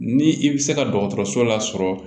Ni i bɛ se ka dɔgɔtɔrɔso lasɔrɔ